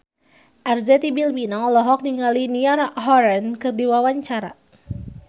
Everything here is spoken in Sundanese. Arzetti Bilbina olohok ningali Niall Horran keur diwawancara